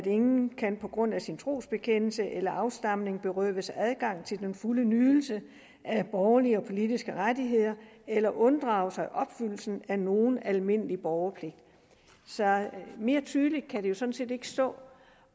ingen kan på grund af sin trosbekendelse eller afstamning berøves adgang til den fulde nydelse af borgerlige og politiske rettigheder eller unddrage sig opfyldelsen af nogen almindelig borgerpligt mere tydeligt kan det jo sådan set ikke stå